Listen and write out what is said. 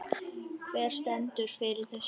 Hver stendur fyrir þessu?